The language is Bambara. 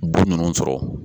Bu ninnu sɔrɔ